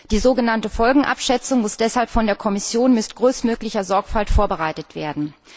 Die so genannte Folgenabschätzung muss deshalb von der Kommission mit größtmöglicher Sorgfalt vorbereitet werden.